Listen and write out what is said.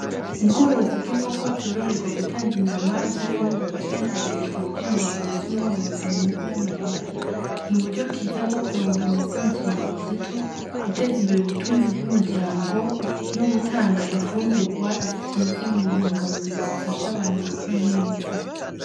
Ubworozi bw'inkoko zororerwa gutanga inyama z'infungurwa canke kugurishwa kugira zironse umworozi inyungu y’amahera , n’uburyo bwiza bwo kuronka amase mu kiringo gito, Guteza Imbere ubutunzi bw’umuryango nogutanga infungurwa zikize mu ntunga mubiri zifasha abantu gukura neza.